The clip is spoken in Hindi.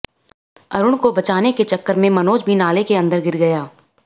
अरुण को बचाने के चक्कर में मनोज भी नाले के अंदर गिर गया